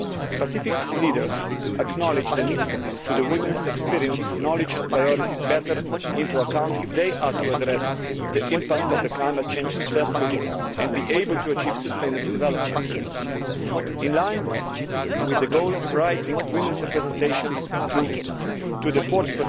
Pacific leaders acknowledge the need to take women's experience, knowledge and priorities into account more effectively if they are to address the impact of climate change successfully and be able to achieve sustainable development. In line with the goal of raising women's representation to the